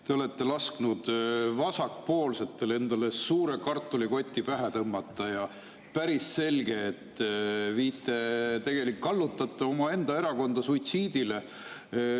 Te olete lasknud vasakpoolsetel endale suure kartulikoti pähe tõmmata ja päris selge, et te tegelikult kallutate omaenda erakonda suitsiidile.